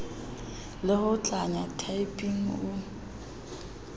le ho tlanya typing o